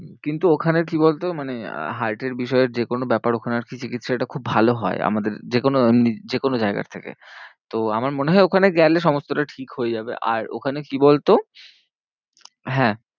কিন্তু ওখানে কি বলতো মানে heart এর বিষয়ের যে কোনো ব্যাপার ওখানে আর কি চিকিৎসাটা খুব ভালো হয়। আমাদের যে কোনো উম যে কোনো জায়গার থেকে। তো আমার মনে হয় ওখানে গেলে সমস্তটা ঠিক হয়ে যাবে। আর ওখানে কি বলতো হ্যাঁ